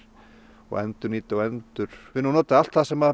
og endurnýta og endurvinna og nota allt sem